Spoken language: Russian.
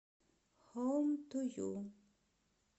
хоум ту ю